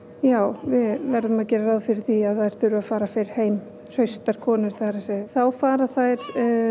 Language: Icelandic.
já við verðum að gera ráð fyrir því að þær þurfi að fara fyrr heim hraustar konur það er að þá fara þær